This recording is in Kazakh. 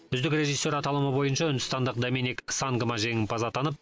үздік режиссер аталымы бойынша үндістандық доминик сангма жеңімпаз атанып